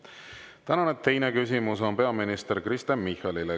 Tänane teine küsimus on peaminister Kristen Michalile.